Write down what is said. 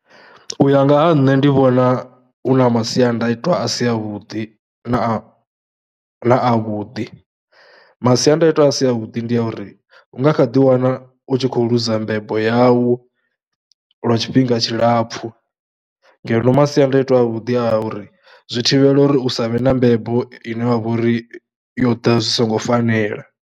U ya nga ha nṋe ndi vhona hu na masiandaitwa a si avhuḓi na a, na avhuḓi, masiandaitwa a si avhuḓi ndi ya uri hu nga kha ḓiwana u tshi khou ḽuza dza mbebo yau lwa tshifhinga tshilapfhu ngeno masiandaitwa avhuḓi a uri zwi thivhela uri u sa vhe na mbebo ine wa vha uri yo ḓa zwi songo fanela.